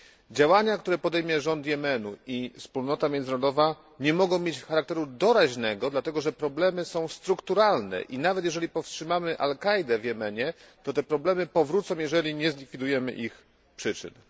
Działania, które podejmie rząd Jemenu i wspólnota międzynarodowa, nie mogą mieć charakteru doraźnego, dlatego, że są to problemy strukturalne i nawet jeżeli powstrzymamy Al Kaidę w Jemenie, to problemy powrócą, jeżeli nie zlikwidujemy ich przyczyn.